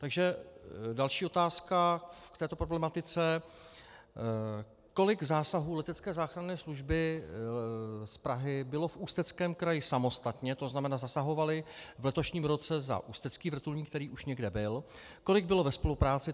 Takže další otázka k této problematice: Kolik zásahů letecké záchranné služby z Prahy bylo v Ústeckém kraji samostatně, to znamená zasahovali v letošním roce za ústecký vrtulník, který už někde byl, kolik bylo ve spolupráci?